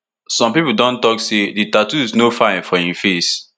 some pipo don tok say di tattoos no no fine for im face